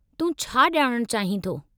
तूं छा ॼाणणु चाहीं थो?